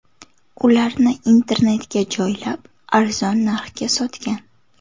Ularni internetga joylab, arzon narxga sotgan.